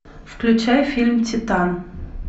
включай фильм титан